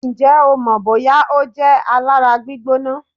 Ǹjẹ́ o mọ̀ bóyá ó jẹ́ alára gbígbóná?